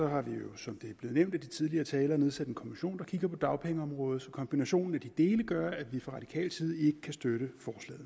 har vi jo som det er blevet nævnt af de tidligere talere nedsat en kommission der kigger på dagpengeområdet så kombinationen af de dele gør at vi fra radikal side ikke kan støtte